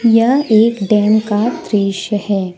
यह एक डैम का दृश्य है।